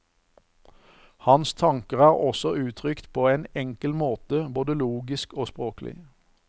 Hans tanker er også uttrykt på en enkel måte både logisk og språklig.